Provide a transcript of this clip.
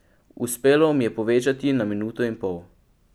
Uspelo mi je povečati na minuto in pol.